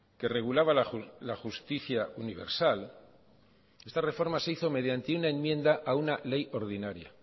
que regulaba la justicia universal esta reforma se hizo mediante una enmienda a una ley ordinaria